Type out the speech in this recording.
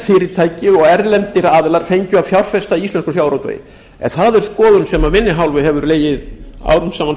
fyrirtæki og erlendir aðilar fengju að fjárfesta í íslenskum sjávarútvegi en það er skoðun sem af inn hálfu hefur legið árum saman